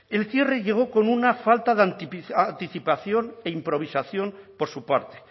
el cierre llegó con una falta de anticipación e improvisación por su parte